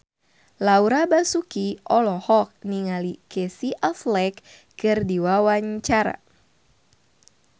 Laura Basuki olohok ningali Casey Affleck keur diwawancara